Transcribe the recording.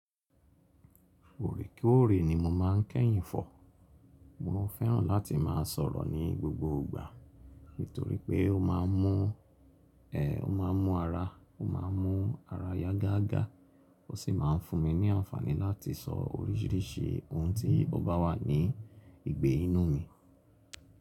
Òrèkòrè ni mo máa ń kẹ́yìn fọ̀. Mo fẹ́ràn láti máa sọ̀rọ̀ ní gbogbo ìgbà nítorí pé ó máa ń mú, ẹ, ó máa ń mú ara, ó máa ń mú ara yá gágá. Ó sì máa ń fún mi ní àǹfààní láti sọ oríṣìíríṣìí ohun tí ọ́ba wà ní ìgbé inú mi.